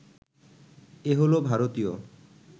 এ হলো ভারতীয়